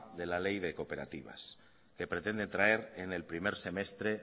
de la ley de cooperativas que pretende traer en el primer semestre